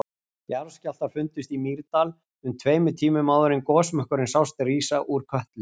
Jarðskjálftar fundust í Mýrdal um tveimur tímum áður en gosmökkurinn sást rísa frá Kötlu.